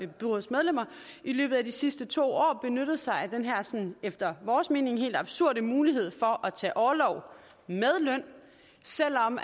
byrådsmedlemmer i løbet af de sidste to år benyttet sig af den her efter vores mening helt absurde mulighed for at tage orlov med løn selv om